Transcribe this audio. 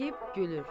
çəkib gülür